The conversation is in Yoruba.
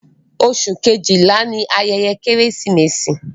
Oṣù kejìlá ni ayẹyẹ Kérésìmesì.